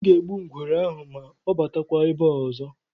M ga-egbu ngwere ahụ ma ọ batakwa ebe a ọzọ.